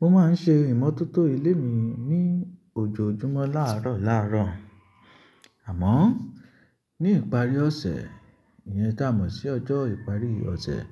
Mo máa ń ṣe ìmọ́tótó ilé mi ní ojoojúmọ́ láàrọ̀ láàrọ̀. Àmọ́ ní ìparí ọ̀sẹ̀, ìyẹn tá mọ̀ sí ọjọ́ ìparí ọ̀sẹ̀,